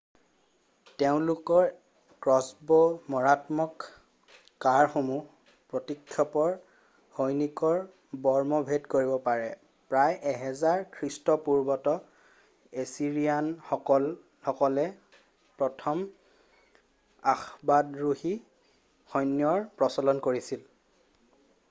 তেওঁলোকৰ ক্ৰছ্ব'ৰ মাৰাত্মক কাড়সমূহে প্ৰতিপক্ষৰ সৈনিকৰ বৰ্ম ভেদ কৰিব পাৰে প্ৰায় 1000 খ্ৰীষ্টপূৰ্বত এছিৰিয়ানসকলে প্ৰথম অশ্বাৰোহী সৈন্যৰ প্ৰচলন কৰিছিল